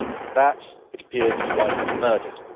That, it appears, is why he was murdered.